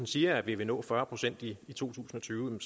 siger at vi vil nå fyrre procent i to tusind og tyve